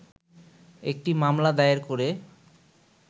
একটি মামলা দায়ের করে